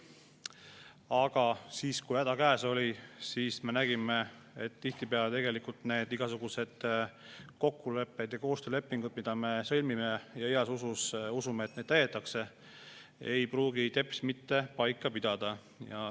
Aga siis, kui häda käes oli, me nägime, et tihtipeale igasugused kokkulepped ja koostöölepingud, mis me oleme sõlminud, heas usus uskudes, et neid täidetakse, ei pruugi teps mitte paika pidada.